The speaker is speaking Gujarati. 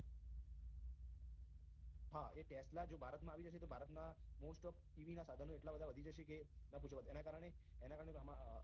હા એ tesla જો ભારતમાં આવી જશે તો ભારતના most of ev ના સાધનો એટલા વધી જશે કે ના પૂછો વાત એના કારણે એના કારણે ન પાછો વાત